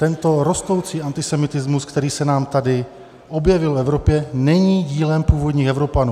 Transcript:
Tento rostoucí antisemitismus, který se nám tady objevil v Evropě, není dílem původních Evropanů.